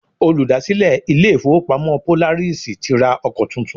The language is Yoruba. Olùdásílẹ̀ ilé ìfọwọ́pamo Polaris ti ra ọkọ tuntun.